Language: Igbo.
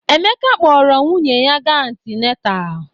Emeka kpọọrọ nwunye ya ga antinetal.